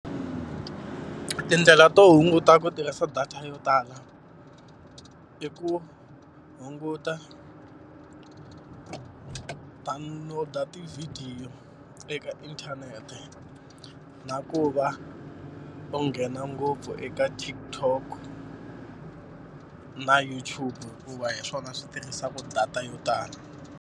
Tindlela to hunguta ku tirhisa data yo tala i ku hunguta download-a tivhidiyo eka inthanete, na ku va u nghena ngopfu eka TikTok na YouTube hikuva hi swona swi tirhisaka data yo tala.